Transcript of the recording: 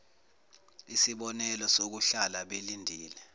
isibonelelo sokuhlala belindile